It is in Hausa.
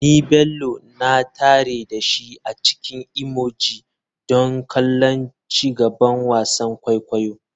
Ni Bello na tare da shi a cikin emoji don kallon ci gaban wasan kwaikwayo.